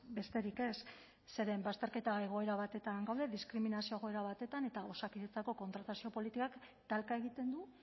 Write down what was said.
besterik ez zeren bazterketa egoera batean gaude diskriminazio egoera batetan eta osakidetzako kontratazio politikak talka egiten du